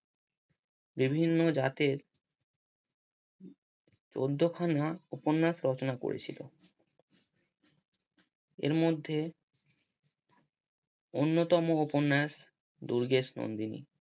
বিভিন্ন জাতে চোদ্দ খানা উপন্যাস রচনা করেছিলেন। এর মধ্যে অন্যতম উপন্যাস দুর্গেশ নন্দিনী